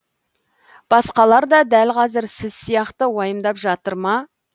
басқалар да дәл қазір сіз сияқты уайымдап жатыр ма